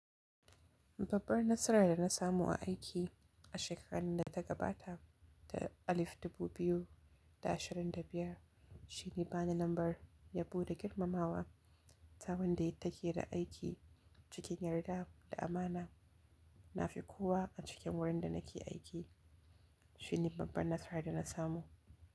Babbar nasarar da na samu a aiki a shekarun da ta gabata, ta alif dubu biyu da ashirin da biyar, shine bani lambar yabo da girmamawa saboda yi take da aiki cikin yarda da amana. Na fi kowa a cikin wurin da nake aiki. Shine babbar nasarar da na samu.